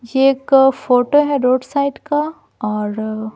ये एक फोटो है रोड साइड का और--